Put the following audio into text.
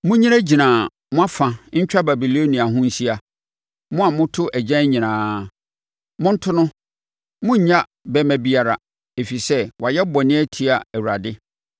“Monnyinagyina mo afa ntwa Babilonia ho nhyia, mo a moto agyan nyinaa. Monto no! Monnnya bɛmma biara, ɛfiri sɛ wayɛ bɔne atia Awurade.